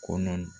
Kɔnɔ